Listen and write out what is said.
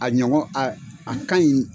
A ɲɔgɔn a ka ɲi.